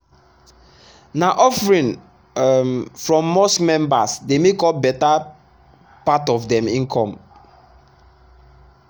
na offering um from mosque members dey make up better part of dem income.